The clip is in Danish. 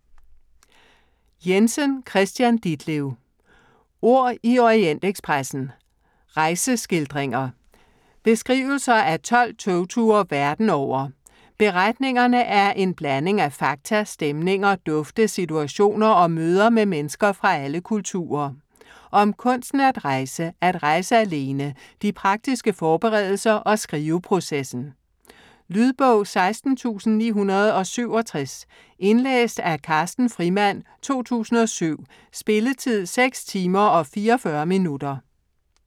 Jensen, Kristian Ditlev: Ord i Orientekspressen: rejseskildringer Beskrivelser af 12 togture verden over. Beretningerne er en blanding af fakta, stemninger, dufte, situationer og møder med mennesker fra alle kulturer. Om kunsten at rejse, at rejse alene, de praktiske forberedelser og skriveprocessen. Lydbog 16967 Indlæst af Carsten Frimand, 2007. Spilletid: 6 timer, 44 minutter.